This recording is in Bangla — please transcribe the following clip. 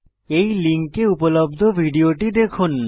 এই লিঙ্কে উপলব্ধ ভিডিওটি দেখুন